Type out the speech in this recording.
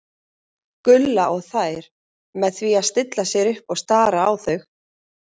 Gulla og þær með því að stilla sér upp og stara á þau.